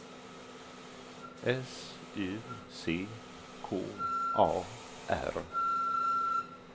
S U C K A R